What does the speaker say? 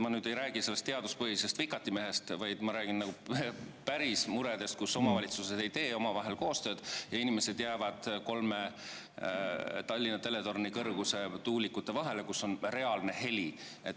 Ma ei räägi nüüd sellest teaduspõhisest vikatimehest, vaid ma räägin päris muredest, näiteks sellest, et omavalitsused ei tee koostööd ja inimesed jäävad kolme Tallinna teletorni kõrguse tuuliku vahele, kus on reaalne heli.